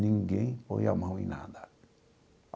Ninguém põe a mão em nada.